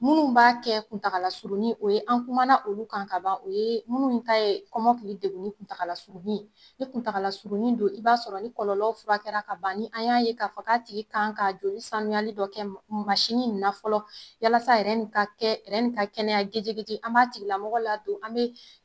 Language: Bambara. Minnu b'a kɛ kuntagalasuruni o ye an kuma na olu kan ka ban. O ye minnu ta ye kɔmɔkili degunni kuntagalasurunni, ni kuntagalasurunni don i b'a sɔrɔ ni kɔlɔlɔw furakɛla ka ban, ni an y'a ye k'a fɔ ka tigi kan ka joli sanuyali dɔ kɛ mansinni in na fɔlɔ yalasa ni ka kɛ ka kɛnɛya gijigiji an b'a tigilamɔgɔ la don, an bɛ